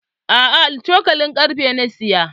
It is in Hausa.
A'a, cokalin karfe na saya.